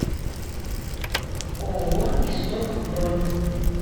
ооо исток бронь